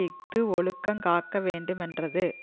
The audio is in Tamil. இஃது ஒழுக்கங் காக்க வேண்டுமென்றது